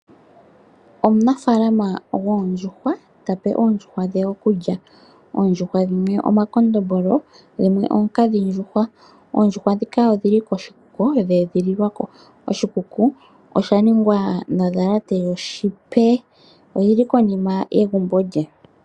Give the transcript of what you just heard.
Omufaalama goondjuhwa tape oondjuhwa dhe okulya oondjuhwa dhimwe omakondombolo dhimwe oonkadhindjuhwa oondjuhwa dhika odhili koshikuku dhe edhi lilwa ko oshikuku osha ningwa nodhalate yoshipa ,oyili konima yegumbo lye.